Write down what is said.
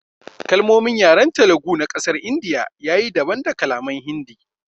Kalmomin yaren Telugu na kasar india ya yi daban da kalaman Hindi.